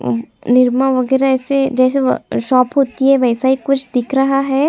अ निरमा वगैरह ऐसे जैसे वह शॉप होती है वैसा ही कुछ दिख रहा हैं।